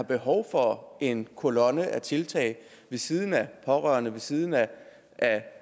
behov for en kolonne af tiltag ved siden af pårørende ved siden af